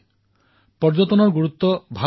বিশেষকৈ পৰ্যটনৰ গুৰুত্ব অনুধাৱন কৰাৰ ফলত হৈছে